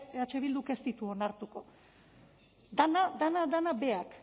eh bilduk ez ditu onartuko dena dena dena berak